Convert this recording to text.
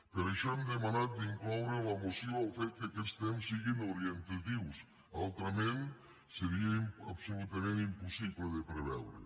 per això hem demanat incloure a la moció el fet que aquests temps siguin orientatius altrament seria absolutament impossible de preveure